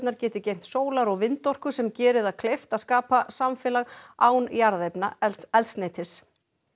geti geymt sólar og vindorku sem geri það kleift að skapa samfélag án jarðefnaeldsneytis